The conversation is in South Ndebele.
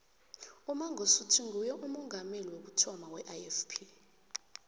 umangosuthu nguye umongameli wokuthoma weifp